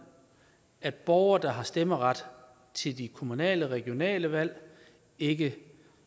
at borgere der har stemmeret til de kommunale og regionale valg ikke